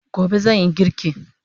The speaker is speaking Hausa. Gobe zanyi girki